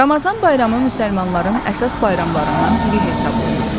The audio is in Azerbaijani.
Ramazan bayramı müsəlmanların əsas bayramlarından biri hesab olunur.